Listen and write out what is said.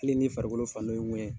Kile ni farikolo fan dɔ ye ŋɛɲɛ